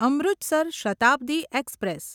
Amritsar Shatabdi express